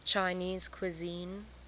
chinese cuisine